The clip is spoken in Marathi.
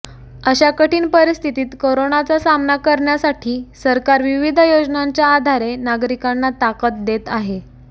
अशा कठीण परिस्थितीत कोरोनाचा सामना करण्यासाठी सरकार विविध योजनांच्या आधारे नागरिकांना ताकद देत आहे